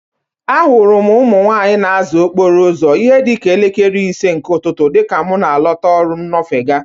A hụrụ m ụmụ nwaanyị na-aza okpuru uzo n'ihe dịka elekere ise nke ụtụtụ dịka mụ na-alọta ọrụ nnofega.